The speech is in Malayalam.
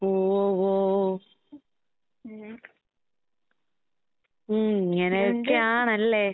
ഓ ഓ ഓ. ഉം ഇങ്ങനെയൊക്കെയാണല്ലേ?